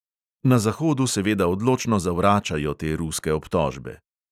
Na zahodu seveda odločno zavračajo te ruske obtožbe.